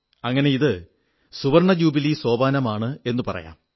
അങ്ങനെ ഇത് സുവർണ്ണജൂബിലി ലക്കമാണെന്നു പറയാം